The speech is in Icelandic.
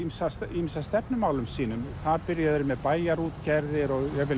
ýmis af stefnumálum sínum þar byrjuðu þeir með bæjarútgerðir og jafnvel